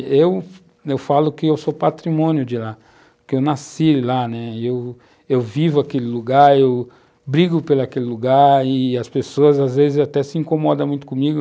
Eu, eu falo que eu sou patrimônio de lá, que eu nasci lá, né, eu vivo aquele lugar, eu brigo por aquele lugar e as pessoas às vezes até se incomodam muito comigo.